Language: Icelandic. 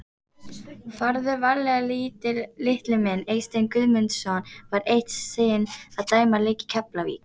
Farðu varlega litli minn Eysteinn Guðmundsson var eitt sinn að dæma leik í Keflavík.